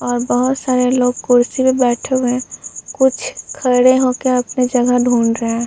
और बहोत सारे लोग कुर्सी पे बैठे हुए हैं। कुछ खड़े होकर अपनी जगह ढूंढ रहे हैं।